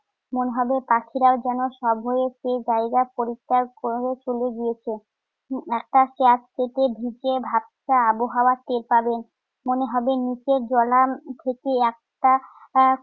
মনে হবে পাখিরাও যেন সাব হয়ে জায়গা পরিত্যাগ করে চলে গিয়েছে। একটা ঢুকে ভ্যাবসা আবহাওয়া টের পাবেন। মনে হবে নিচের জলা উম থেকে একটা আহ